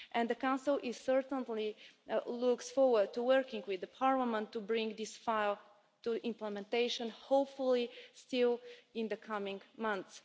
The Council certainly looks forward to working with the Parliament to bring this file to implementation, hopefully still in the coming months.